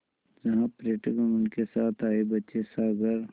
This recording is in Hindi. जहाँ पर्यटक एवं उनके साथ आए बच्चे सागर